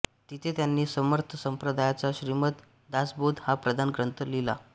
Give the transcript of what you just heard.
तिथे त्यांनी समर्थ संप्रदायाचा श्रीमद दासबोध हा प्रधान ग्रंथ लिहिला